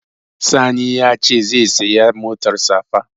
Sani ya ce zai saya motar safa